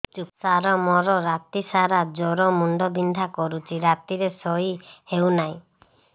ସାର ମୋର ରାତି ସାରା ଜ୍ଵର ମୁଣ୍ଡ ବିନ୍ଧା କରୁଛି ରାତିରେ ଶୋଇ ହେଉ ନାହିଁ